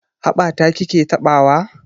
Haɓa ta ki ke taɓawa?